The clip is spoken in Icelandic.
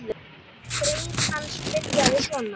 Grein hans byrjaði svona